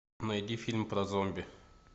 найди фильм про зомби